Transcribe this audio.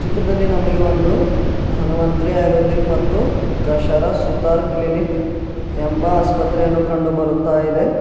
ಚಿತ್ರದಲ್ಲಿ ನಮಗೆ ಒಂದು ಧನ್ವಂತ್ರಿ ಆಯುರ್ವೇದಿಕ್ ಮತ್ತು ಕಶರ ಸುತಾರ್ ಕ್ಲಿನಿಕ್ ಎಂಬ ಆಸ್ಪತ್ರೆಯನ್ನು ಕಂಡು ಬರುತ್ತಾ ಇದೆ.